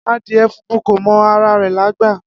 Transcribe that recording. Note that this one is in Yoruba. Adie funfun ko mọ ara re lagba.